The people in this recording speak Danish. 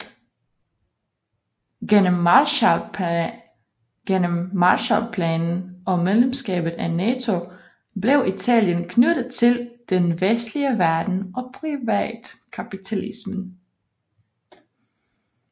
Gennem Marshallplanen og medlemskabet af NATO blev Italien knyttet til den vestlige verden og privatkapitalismen